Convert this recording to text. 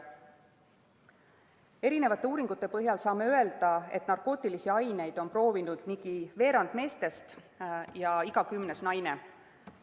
Eri uuringute põhjal saame öelda, et narkootilisi aineid on proovinud ligi veerand meestest ja iga kümnes naine.